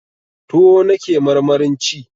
Tuwo nake marmarin ci